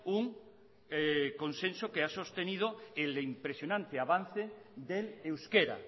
un consenso que ha sostenido el impresionante avance del euskera